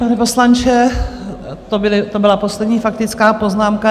Pane poslanče, to byla poslední faktická poznámka.